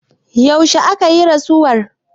yaushe aka yi rasuwar